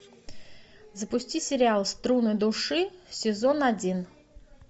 запусти сериал струны души сезон один